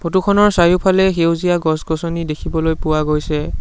ফটোখনৰ চাৰিওফালে সেউজীয়া গছ-গছনি দেখিবলৈ পোৱা গৈছে।